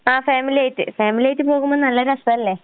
ആഹ് ഫാമിലിയായിട്ട്. ഫാമിലിയായിട്ട് പോകുമ്പോ നല്ല രസാല്ലേ?